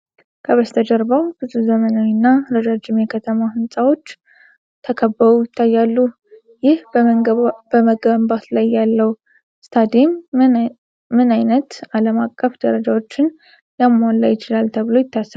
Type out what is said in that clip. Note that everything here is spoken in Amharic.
ከበስተጀርባው ብዙ ዘመናዊና ረዣዥም የከተማ ሕንፃዎች ተከበው ይታያሉ። ይህ በመገንባት ላይ ያለው ስታዲየም ምን ዓይነት ዓለም አቀፍ ደረጃዎችን ሊያሟላ ይችላል ተብሎ ይታሰባል?